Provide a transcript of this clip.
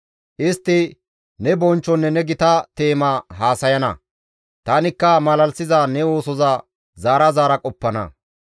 Istti ne bonchchonne ne gita teema haasayana; tanikka malalisiza ne oosoza zaara zaara qoppana.